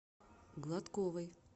гладковой